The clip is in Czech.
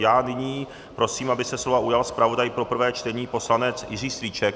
Já nyní prosím, aby se slova ujal zpravodaj pro prvé čtení poslanec Jiří Strýček.